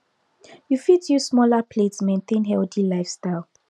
you fit use smaller plates maintain healthy lifestyle